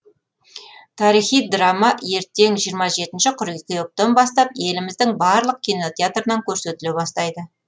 тарихи драма ертең жиырма жетінші қыркүйектен бастап еліміздің барлық кинотеатрынан көрсетіле бастайды